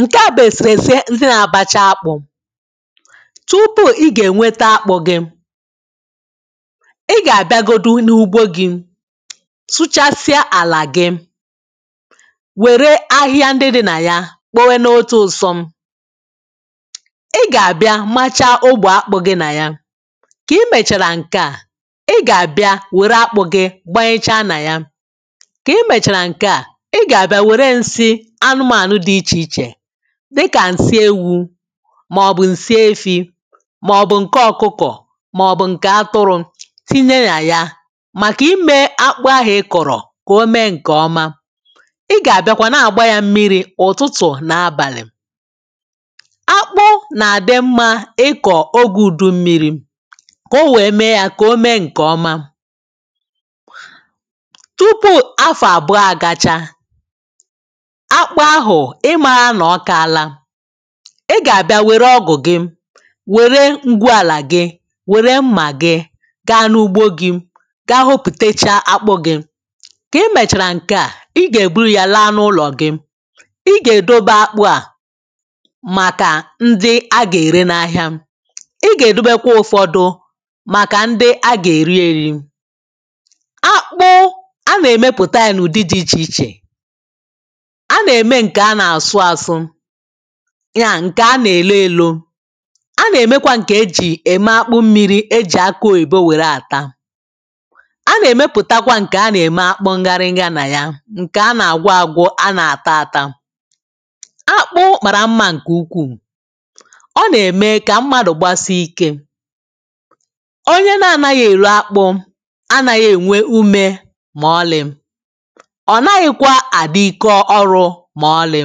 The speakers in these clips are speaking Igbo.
Nke a bụ eserese ntinabacha akpụ. Tupu ị ga-enweta akpụ gị, ị ga-abịa godu n’ugbo gị, sụchasịa ala gị, were ahịhịa ndị dị nà ya kpowe n’otu usọm. ị ga-abịa machaa ogbò akpụ gị na ya. Ka i mechara nke a, ị ga-abịa were akpụ gị gbanyechaa na ya. Ka i mechara nke a, ị ga-abịa were nsị anụmanụ dị iche iche dịkà ǹsị ewu màọ̀bụ̀ ǹsị efi màọ̀bụ̀ ǹke ọ̀kụkọ̀ màọ̀bụ̀ ǹke atụrụ tinye nà ya, màkà ime akpụ ahụ̀ ị kọ̀rọ̀ kà o mee ǹkè ọma. Ị gà-àbịakwa nà-àgba ya mmiri̇ ụ̀tụtụ̀ nà abàlị̀. Akpụ nà-àdị mma ikọ̀ ogē ùdu mmiri̇ kà o wee mee ya kà o mee ǹkè ọma. Tupu afọ̀ àbụọ àgacha, akpụ ahụ̀ I maara na ókaala. I ga-abịa were ọgụ gị, were ngwụàlà gị, were mma gị gaa n’ugbo gị, gaa hoputecha akpụ gị. Ka i mechara nke a, ị ga-eburu ya laa n’ụlọ gị. ị ga-edobe akpụ a maka ndị a ga-ere n’ahịa. I ga-edobekwa ụfọdụ maka ndị a ga-eri eri. Akpụ, a na-emepụta ya n’ụdị dị iche iche: a na eme nke ana asụ asụ ya ǹkè a nà-èlo ėlȯ. A nà-èmekwa ǹkè èjì ème akpụ mmiri̇, ejì akụ oyìbo wère àta. A nà-èmepùtakwa ǹkè a nà-ème akpụ ngarị nyea nà ya, ǹkè a nà-àgwa àgwụ, a nà-àta àta. Akpụ màra mmȧ ǹkè ukwuù, ọ nà-ème kà mmadù gbasie ikē. Onye na-anaghị èri akpụ anaghị ènwe umē maọlị̀. Ọ̀ naghịkwa àdị ike orụ maọlị̀.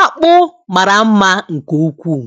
Akpụ mara mma nke ukwuu.